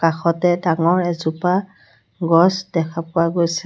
কাষতে ডাঙৰ এজোপা গছ দেখা পোৱা গৈছে।